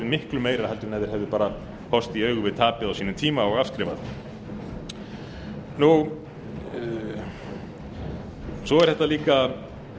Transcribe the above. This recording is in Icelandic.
miklu meira heldur en ef þeir hefðu bara horfst í augu við tapið á sínum tíma og afskrifað svo er þetta líka ágætlega til þess